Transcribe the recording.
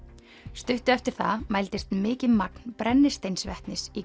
stuttu eftir það mældist mikið magn brennisteinsvetnis í